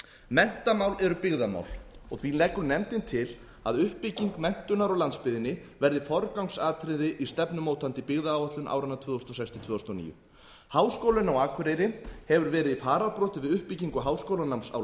menntamál eru byggðamál því leggur nefndin til að uppbygging menntunar á landsbyggðinni verði forgangsatriði í stefnumótandi byggðaáætlun áranna tvö þúsund og sex til tvö þúsund og níu háskólinn á akureyri hefur verið í fararbroddi við uppbyggingu háskólanáms á